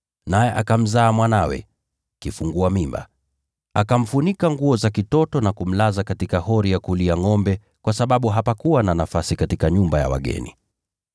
naye akamzaa mwanawe, kifungua mimba. Akamfunika nguo za kitoto na kumlaza katika hori ya kulia ngʼombe, kwa sababu hapakuwa na nafasi katika nyumba ya wageni.